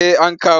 Eh an kawo.